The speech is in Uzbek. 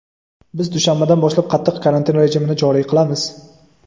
biz dushanbadan boshlab qattiq karantin rejimini joriy qilamiz.